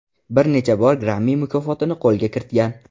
Bir necha bor Grammy mukofotini qo‘lga kiritgan.